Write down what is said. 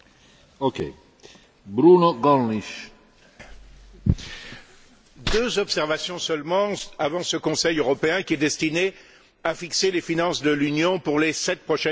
Monsieur le Président, deux observations seulement avant ce Conseil européen qui est destiné à fixer les finances de l'Union pour les sept prochaines années.